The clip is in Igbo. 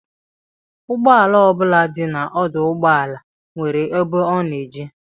Ụgbọala ọ bụla dị n'ọdụụgbọala nwere ebe ọ na-eje